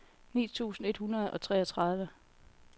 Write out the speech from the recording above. ni tusind et hundrede og treogtredive